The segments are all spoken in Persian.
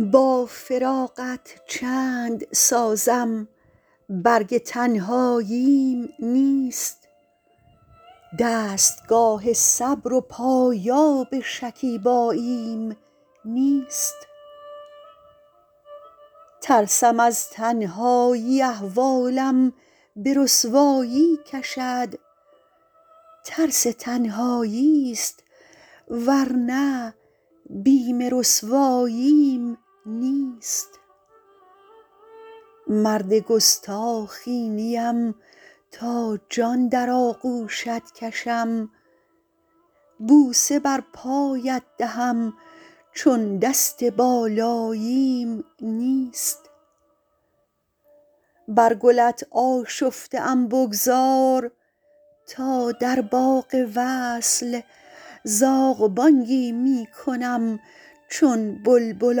با فراقت چند سازم برگ تنهاییم نیست دستگاه صبر و پایاب شکیباییم نیست ترسم از تنهایی احوالم به رسوایی کشد ترس تنهایی ست ور نه بیم رسواییم نیست مرد گستاخی نیم تا جان در آغوشت کشم بوسه بر پایت دهم چون دست بالاییم نیست بر گلت آشفته ام بگذار تا در باغ وصل زاغ بانگی می کنم چون بلبل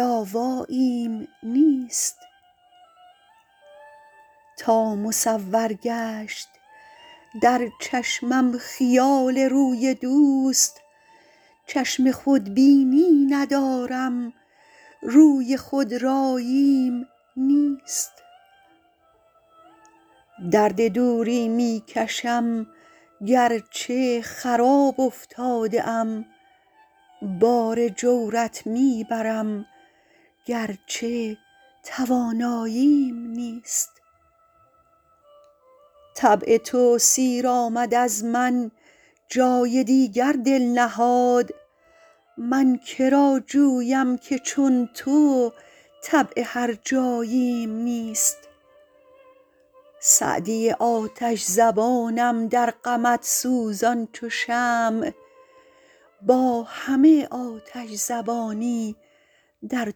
آواییم نیست تا مصور گشت در چشمم خیال روی دوست چشم خودبینی ندارم روی خودراییم نیست درد دوری می کشم گر چه خراب افتاده ام بار جورت می برم گر چه تواناییم نیست طبع تو سیر آمد از من جای دیگر دل نهاد من که را جویم که چون تو طبع هرجاییم نیست سعدی آتش زبانم در غمت سوزان چو شمع با همه آتش زبانی در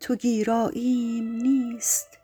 تو گیراییم نیست